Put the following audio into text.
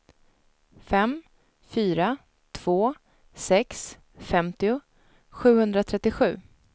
fem fyra två sex femtio sjuhundratrettiosju